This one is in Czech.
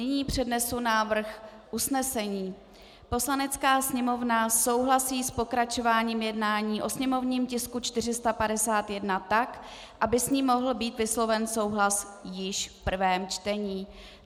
Nyní přednesu návrh usnesení: "Poslanecká sněmovna souhlasí s pokračováním jednání o sněmovním tisku 451 tak, aby s ním mohl být vysloven souhlas již v prvém čtení."